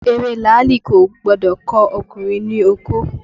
Ewé làálì kò gbọ́dọ̀ kan ọkùnrin ní okó